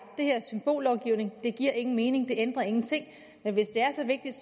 det her er symbollovgivning det giver ingen mening det ændrer ingenting men hvis det er så vigtigt